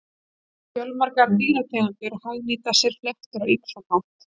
Fjölmargar dýrategundir hagnýta sér fléttur á ýmsan hátt.